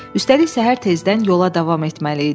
Üstəlik səhər tezdən yola davam etməli idilər.